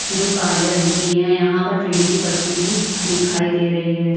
जो काले रंग की हैं यहाँ पर ट्रेन की पटरी भी दिखाई दे रही है।